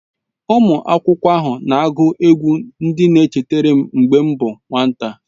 Ụmụ akwụkwọ ahụ na-agụ egwú ndị na-echetara m mgbe m bụ nwata.